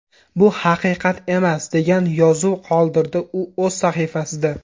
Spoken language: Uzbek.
Bu haqiqat emas”, degan yozuv qoldirdi u o‘z sahifasida.